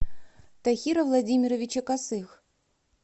тахира владимировича косых